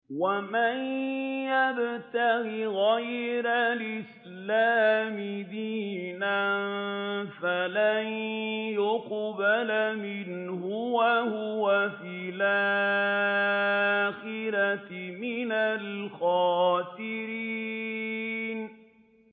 وَمَن يَبْتَغِ غَيْرَ الْإِسْلَامِ دِينًا فَلَن يُقْبَلَ مِنْهُ وَهُوَ فِي الْآخِرَةِ مِنَ الْخَاسِرِينَ